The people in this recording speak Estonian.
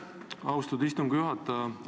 Aitäh, austatud istungi juhataja!